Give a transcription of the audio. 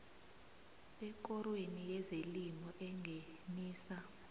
ekorweni yezelimo engenisa